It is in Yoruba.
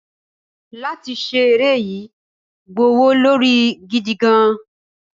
látí ṣe eré yii gbówólorí gidigan